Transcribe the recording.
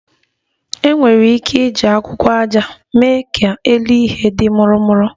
E nwere ike iji akwụkwọ aja mee ka elu ihe di murumuru